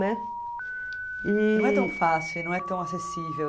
Né? E.... Não é tão fácil, e não é tão acessível.